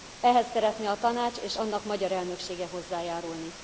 Ehhez szeretne a Tanács és annak magyar elnöksége hozzájárulni.